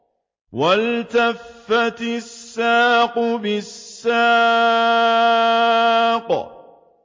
وَالْتَفَّتِ السَّاقُ بِالسَّاقِ